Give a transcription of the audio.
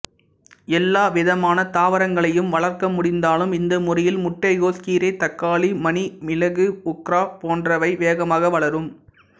எல்லாவிதமான தாவரங்களையும் வளர்க்க முடிந்தாலும் இந்த முறையில் முட்டைக்கோஸ் கீரை தக்காளி மணி மிளகு ஓக்ரா போன்றவை வேகமாக வளரும்